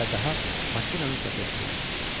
Və daha makinanın səsi eşidilmədi.